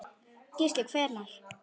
Gísli: Hvernig?